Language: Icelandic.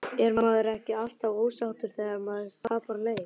Er maður ekki alltaf ósáttur þegar maður tapar leik?